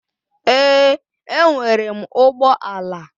Èè, e nwere m ụgbọ ala.